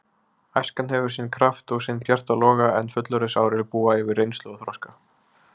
Æskan hefur sinn kraft og sinn bjarta loga en fullorðinsárin búa yfir reynslu og þroska.